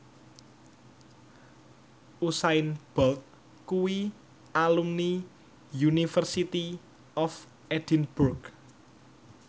Usain Bolt kuwi alumni University of Edinburgh